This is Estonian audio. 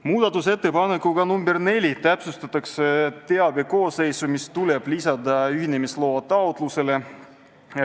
Muudatusettepanekuga nr 4 täpsustatakse selle teabe koosseisu, mis tuleb lisada ühinemisloa taotlusele.